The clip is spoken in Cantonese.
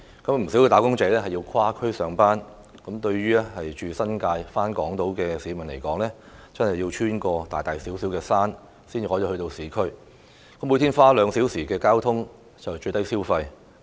不少"打工仔"須跨區上班，對於家住新界而在港島上班的市民來說，真的要穿越大大小小的"山"才能到達市區，每天花兩小時通勤屬"最低消費"。